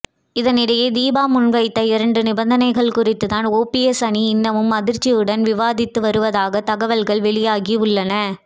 இதனிடையே தீபா முன்வைத்த இரண்டு நிபந்தனைகள் குறித்துதான் ஓபிஎஸ் அணி இன்னமும் அதிர்ச்சியுடன் விவாதித்து வருவதாக தகவல்கள் வெளியாகி உள்ளன